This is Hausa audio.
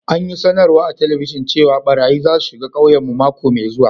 An yi sanarwa a'telibijin cewa barayyi za su shiga ƙauyen mu mako mai zuwa.